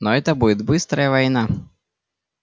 но это будет быстрая война